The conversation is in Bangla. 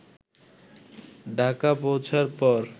ঢাকা পৌঁছার পর